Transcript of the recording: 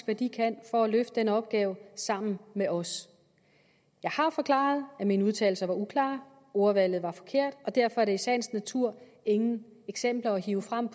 hvad de kan for at løfte den opgave sammen med os jeg har forklaret at mine udtalelser var uklare at ordvalget var forkert og derfor er der i sagens natur ingen eksempler at hive frem